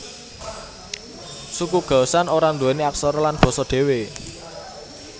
Suku Gaoshan ora nduweni aksara lan basa dhewe